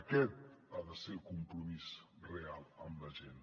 aquest ha de ser el compromís real amb la gent